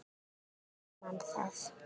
Þá grunar mann það.